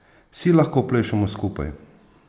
Vsi lahko plešemo skupaj!